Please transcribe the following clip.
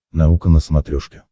наука на смотрешке